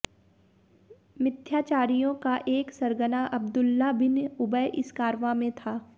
मित्थ्याचारियों का एक सरगना अब्दुल्लाह बिन उबय इस कारवां में था